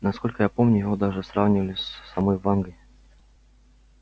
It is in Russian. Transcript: насколько я помню его даже сравнивали с самой вангой